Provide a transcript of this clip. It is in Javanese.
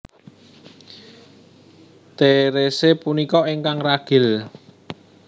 Therese punika ingkang ragil